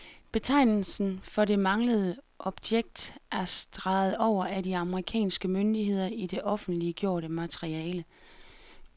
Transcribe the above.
Betegnelsen for det manglende objekt er streget over af de amerikanske myndigheder i det offentliggjorte materiale.